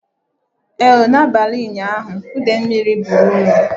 Ee o! na abalị ụnyaahụ ide mmiri buru ụlọ